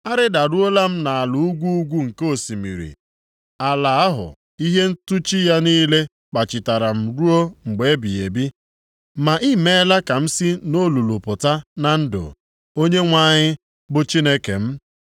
Arịdaruola m nʼala ugwu ugwu nke osimiri, ala ahụ ihe ntụchi ya niile kpachitara m ruo mgbe ebighị ebi. Ma i meela ka m si nʼolulu pụta na ndụ, Onyenwe anyị, bụ Chineke m.